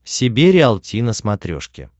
себе риалти на смотрешке